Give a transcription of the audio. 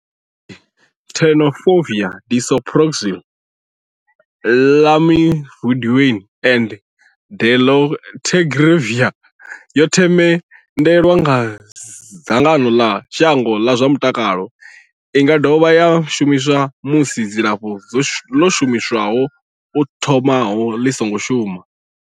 Tenofovir disoproxil, Lamivudine and dolutegravir yo themendelwa nga dzangano ḽa shango ḽa zwa mutakalo. I nga dovha ya shumiswa musi dzilafho ḽo shumiswaho u thomaho ḽi songo shuma.